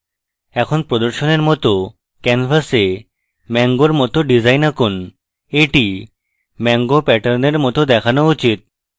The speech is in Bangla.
এখন প্রদর্শনের it canvas a mango it design আঁকুন এটি mango প্যাটার্নের it দেখানো উচিত